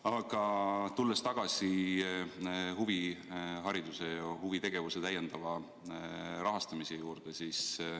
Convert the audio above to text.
Aga tulen tagasi huvihariduse ja huvitegevuse täiendava rahastamise juurde.